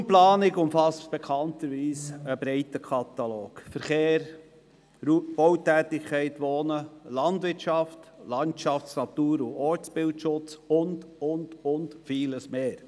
Die Raumplanung umfasst bekanntlich einen breiten Katalog: Verkehr, Bautätigkeit, Wohnen, Landwirtschaft, Landschafts-, Natur- und Ortsbildschutz und vieles mehr.